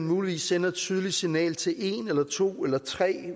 muligvis et tydeligt signal til en eller to eller tre